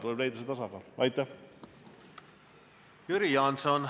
Jüri Jaanson, palun!